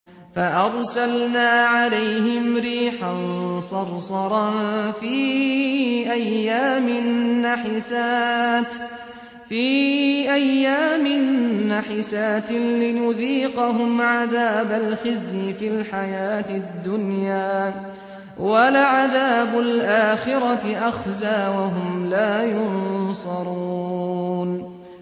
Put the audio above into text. فَأَرْسَلْنَا عَلَيْهِمْ رِيحًا صَرْصَرًا فِي أَيَّامٍ نَّحِسَاتٍ لِّنُذِيقَهُمْ عَذَابَ الْخِزْيِ فِي الْحَيَاةِ الدُّنْيَا ۖ وَلَعَذَابُ الْآخِرَةِ أَخْزَىٰ ۖ وَهُمْ لَا يُنصَرُونَ